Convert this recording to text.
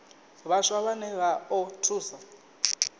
vhaswa vhane vha o thusa